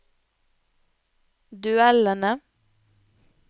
duellene